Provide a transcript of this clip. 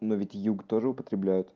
но ведь юг тоже употребляют